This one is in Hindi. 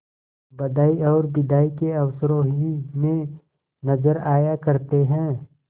बधाई और बिदाई के अवसरों ही में नजर आया करते हैं